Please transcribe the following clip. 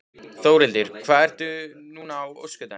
Þórhildur: Hvað ert þú núna á öskudaginn?